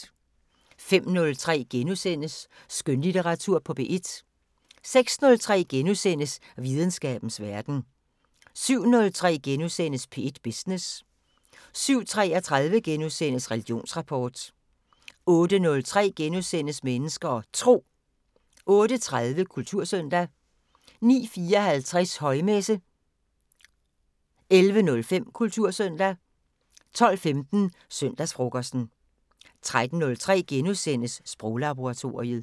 05:03: Skønlitteratur på P1 * 06:03: Videnskabens Verden * 07:03: P1 Business * 07:33: Religionsrapport * 08:03: Mennesker og Tro * 08:30: Kultursøndag 09:54: Højmesse - 11:05: Kultursøndag 12:15: Søndagsfrokosten 13:03: Sproglaboratoriet *